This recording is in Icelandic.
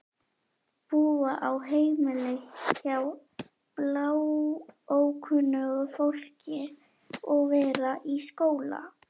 Búa á heimili hjá bláókunnugu fólki og vera í skóla.